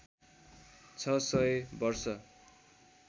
छ सय वर्ष